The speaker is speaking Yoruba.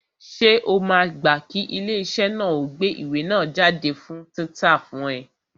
Ṣé o máa gbá kí ilé iṣẹ́ náà ó gbé ìwé náà jáde fún títa fún ẹ?